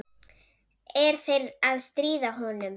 Er þeir að stríða honum?